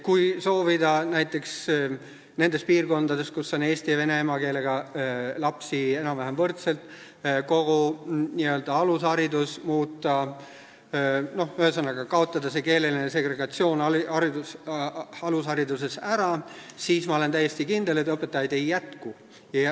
Kui soovida näiteks nendes piirkondades, kus on eesti ja vene emakeelega lapsi enam-vähem võrdselt, muuta kogu alusharidust, ühesõnaga, kaotada keeleline segregatsioon sealt ära, siis ma olen täiesti kindel, et õpetajaid ei jätku.